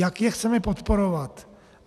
Jak je chceme podporovat?